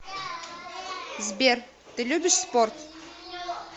сбер ты любишь спорт